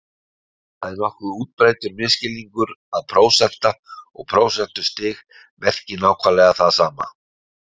Það er nokkuð útbreiddur misskilningur að prósenta og prósentustig merki nákvæmlega það sama.